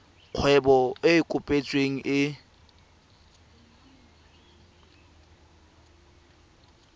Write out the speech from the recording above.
kgwebo e e kopetsweng e